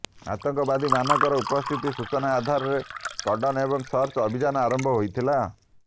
ଆତଙ୍କବାଦୀମାନଙ୍କର ଉପସ୍ଥିତିର ସୂଚନା ଆଧାରରେ କର୍ଡନ୍ ଏବଂ ସର୍ଚ ଅଭିଯାନ ଆରମ୍ଭ ହୋଇଥିଲା